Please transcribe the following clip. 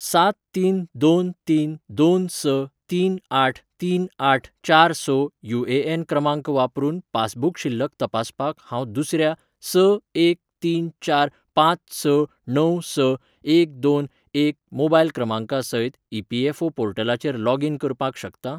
सात तीन दोन तीन दोन स तीन आठ तीन आठ चार स युएएन क्रमांक वापरून पासबुक शिल्लक तपासपाक हांव दुसऱ्या स एक तीन चार पांच स णव स एक दोन एक मोबायल क्रमांका सयत ईपीएफओ पोर्टलाचेर लॉगीन करपाक शकता ?